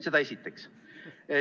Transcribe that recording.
Seda esiteks.